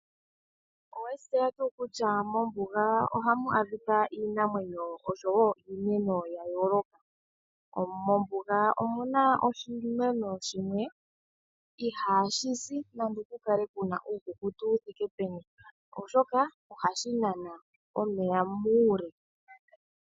Owe shi tseya tu kutya mombuga ohamu adhika iinamwenyo oshowo iimeno yayoloka. Mombuga omu na oshimeno shimwe ihashi si nando okukale kuna uukukutu wu thike peni oshoka ohashi nana omeya mule.